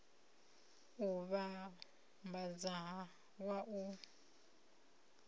u vhambadza na wa u